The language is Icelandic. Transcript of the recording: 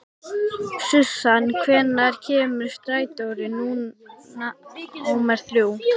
Susan, hvenær kemur strætó númer þrjú?